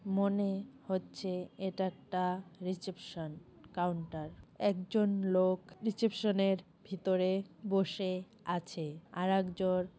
মনে হচ্ছে এটা একটা রিসেপশন কাউন্টার । একজন লোক রিসিপশানের ভেতরে বসে আছে। আর একজন--